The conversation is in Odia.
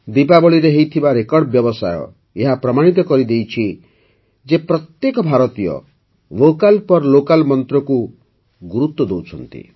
ଦିପାବଳୀରେ ହୋଇଥିବା ରେକର୍ଡ଼ ବ୍ୟବସାୟ ଏହା ପ୍ରମାଣିତ କରିଦେଇଛି ଯେ ପ୍ରତ୍ୟେକ ଭାରତୀୟ ଭୋକାଲ୍ ଫର୍ ଲୋକାଲ୍ ମନ୍ତ୍ରକୁ ଗୁରୁତ୍ୱ ଦେଉଛନ୍ତି